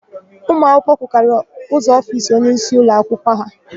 Ụmụakwụkwọ kụkara ụzọ ofiisi onyeisi ụlọakwụkwọ ha.